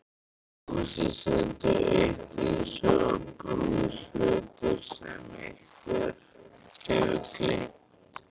Húsið stendur autt eins og brúkshlutur sem einhver hefur gleymt.